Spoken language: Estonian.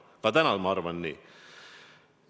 Ka täna ma arvan nii.